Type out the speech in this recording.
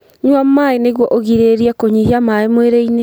Nyua maĩ nĩguo ũgirĩrĩrie kũnyihia maĩ mwĩrĩ-inĩ